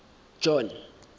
john